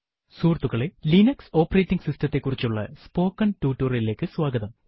സുഹൃത്തുക്കളെ Linux operating system ത്തെ കുറിച്ചുള്ള സ്പോക്കെൻ ടുട്ടോറിയലിലേക്ക് സ്വാഗതം